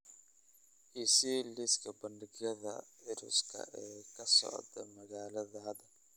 i sii liiska bandhigyada circus-ka ee ka socda magaalada hadda